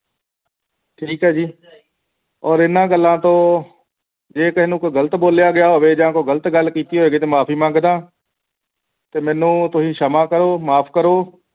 ਠੀਕ ਹੈ ਜੀ ਔਰ ਇਨ੍ਹਾਂ ਗੱਲਾਂ ਤੋਂ ਜੇ ਕਿਸੇ ਨੂੰ ਕੁਝ ਗ਼ਲਤ ਬੋਲਿਆ ਗਿਆ ਹੋਵੇ ਤੇ ਜਾਂ ਕੋਈ ਗਲਤ ਗੱਲ ਕੀਤੀ ਹੋਏਗੀ ਤੇ ਮਾਫੀ ਮੰਗਦਾ ਹਾਂ ਤੇ ਤੁਸੀਂ ਮੈਨੂੰ ਸਮਾਂ ਕਰੋ ਮਾਫ ਕਰੋ